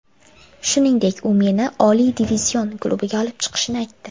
Shuningdek, u meni oliy divizion klubiga olib chiqishini aytdi.